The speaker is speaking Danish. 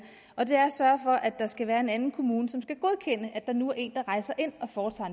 og det er at sørge for at der skal være en anden kommune som skal godkende at der nu er en der rejser ind og foretager